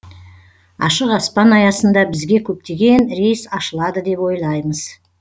ашық аспан аясында бізге көптеген рейс ашылады деп ойлаймыз